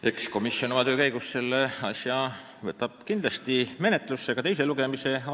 Eks komisjon võtab oma töö käigus selle eelnõu kindlasti ette ja toimub ka menetlus enne teist lugemist.